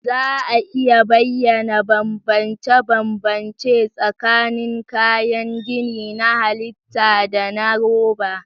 Za a iya bayyana bambance-bambance tsakanin kayan gini na halitta da na roba?